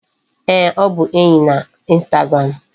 Ee, ọ bụ enyi na instagram.